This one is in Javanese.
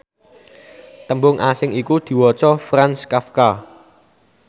tembung asing iku diwaca Franz Kafka